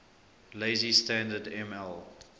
lazy standard ml